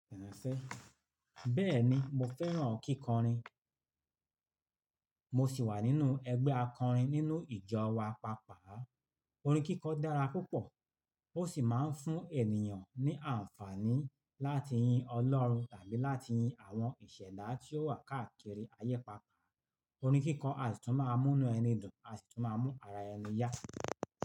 Bẹ́ẹ̀ni mo fẹ́ràn kíkọrin. Mo sì wà nínú ẹgbẹ́ akọrin nínú ìjọ wa pàápàá. Orin kíkọ dára púpọ̀ ó sì máa ń fún ènìyàn ní àǹfààní láti yin Ọlọ́run tàbí láti yin àwọn ìṣẹ̀dá tí ó wà káàkiri ayé pàápàá. Orin kíkọ àṣìtún máa mú inú ẹni dùn, àṣìtú máa ń mú ara ẹni yà.